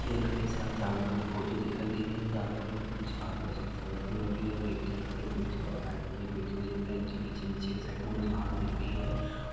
ये कई सारे जानवर की फोटो दिखाई दे रही है जानवरों की पूछ काली और सफेद कलर हैं और वो एक ऊपर एक बैठे हुए दिख रहे हैं इनके पीछे नीचे की साइड में घास दिख रही है